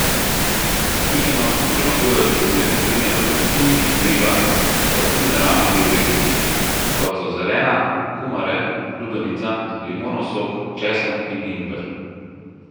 Napihnjenost premagujejo tudi beljakovine v perutnini in ribah pa tudi naravni diuretiki, kot so zelena, kumare, lubenica, limonov sok, česen in ingver.